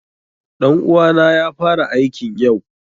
Ɗan uwa na ya fara aikn yau.